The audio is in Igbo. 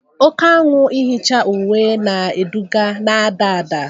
Oke anwụ ihicha uwe na-eduga na-ada ada